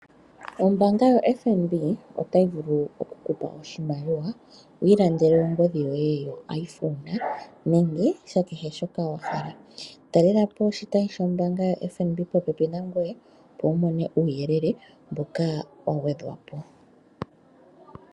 Ombaanga yoFNB otayi vulu oku ku pa oshimaliwa wi ilandele ongodhi yoye yoIPhone nenge kehe shoka wahala. Talela po oshitayi shombaanga yoFNB popepi nangoye, opo wu mone uuyelele mboka wa gwedhwa po.